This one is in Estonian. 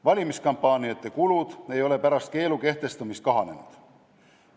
Valimiskampaaniate kulud ei ole pärast keelu kehtestamist kahanenud.